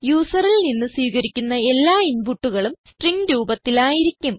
യൂസറിൽ നിന്ന് സ്വീകരിക്കുന്ന എല്ലാ ഇൻപുട്ടുകളും സ്ട്രിംഗ് രൂപത്തിൽ ആയിരിക്കും